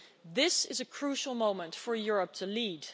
This is a crucial moment for Europe to lead.